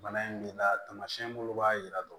Bana in b'i la taamasiyɛn minnu b'a jira dɔrɔn